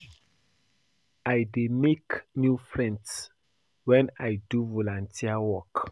I dey make new friends wen I do volunteer work.